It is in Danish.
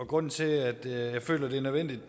grunden til at jeg føler at det er nødvendigt